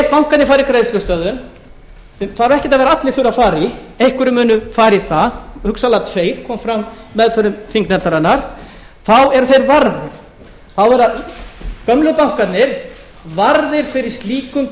bankarnir fara í greiðslustöðvun sem þarf ekki að vera að allir þurfi að fara í einhverjir munu fara í það hugsanlega tveir kom frá meðförum þingnefndarinnar þá eru þeir varðir þá eru gömlu bankarnir varðir fyrir slíkum